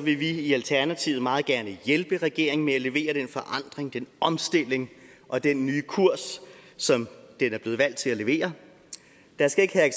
vil vi i alternativet meget gerne hjælpe regeringen med at levere den forandring den omstilling og den nye kurs som den er blevet valgt til at levere der skal ikke